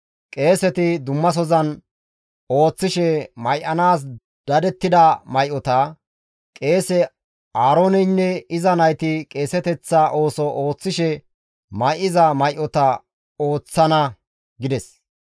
qeeseti dummasozan ooththishe may7anaas dadettida may7ota, qeese Aarooneynne iza nayti qeeseteththa ooso ooththishe may7iza may7ota ooththana» gides.